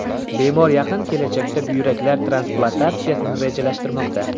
Bemor yaqin kelajakda buyraklar transplantatsiyasini rejalashtirmoqda.